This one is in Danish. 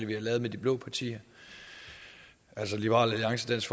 vi har lavet med de blå partier altså liberal alliance dansk